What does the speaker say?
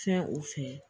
Fɛn o fɛ